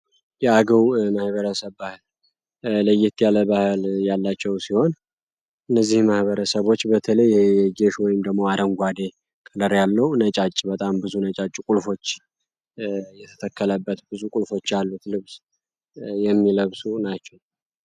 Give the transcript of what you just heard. የአገው ማህበረሰብ ባህል ለየት ያለ ባህል ያላቸው ሲሆን እነዚህ ማህበረሰቦች በተለይ ጌሾ ወይም ደመቅ አደንጓዴ ከለር ያለው ነጫጭ በጣም ብዙ ነጫጭ ቁልፎች የተተከለበት ብዙ ቁልፎች አሉት ልብስ የሚለብሱ ናቸው።